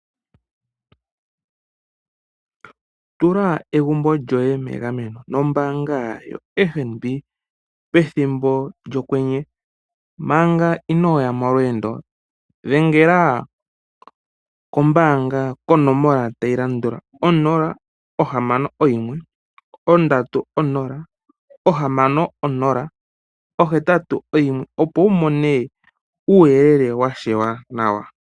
Tula egumbo lyoye megameno nombaanga yoFNB pethimbo lyokwenye manga inooya molweendo dhengela kombaanga konomola tayi landula onola ohamano oyimwe ondatu onola ohamano onola ohetatu oyimwe opo wu mone uuyelele wa shewa nawa.